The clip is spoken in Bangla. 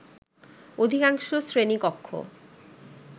অধিকাংশ শ্রেণী কক্ষ